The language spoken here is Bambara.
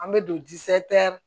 An bɛ don